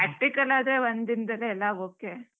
Practical ಆದ್ರೆ ಒಂದ್ ದಿನದಲ್ಲೇ ಎಲ್ಲಾ okay .